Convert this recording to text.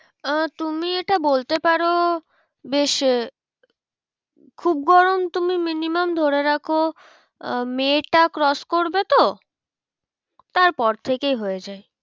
আহ তুমি এটা বলতে পারো বেশ খুব গরম তুমি minimum ধরে রাখো আহ মে টা cross করবে তো তার পর থেকেই হয়ে যায়।